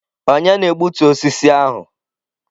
Ònye na-egbutu osisi ahụ?